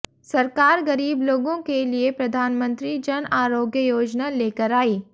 सरकार गरीब लोगों के लिए प्रधानमंत्री जन आरोग्य योजना लेकर आई